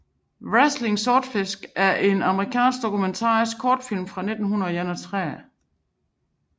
Wrestling Swordfish er en amerikansk dokumentarisk kortfilm fra 1931